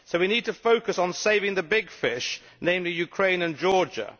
So we need to focus on saving the big fish, namely Ukraine and Georgia.